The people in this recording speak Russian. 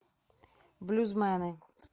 блюзмены